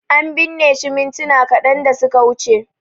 An binne shi mintuna kadan da suka wuce